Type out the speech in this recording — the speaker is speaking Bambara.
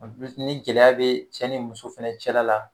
ni gɛlɛya bɛ cɛ ni muso fɛnɛ cɛla la.